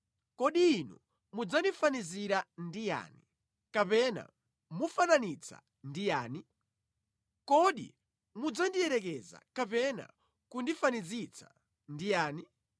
“Kodi inu mudzandifanizira ndi yani, kapena mufananitsa ndi yani? Kodi mudzandiyerekeza kapena kundifanizitsa ndi yani?